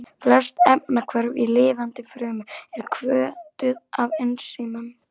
Flest efnahvörf í lifandi frumu eru hvötuð af ensímum.